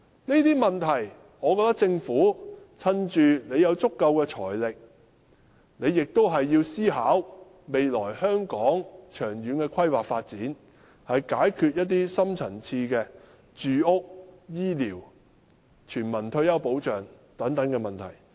我認為政府在有足夠的財力時，應思考香港未來的長遠規劃發展，解決住屋、醫療、全民退休保障等深層次問題。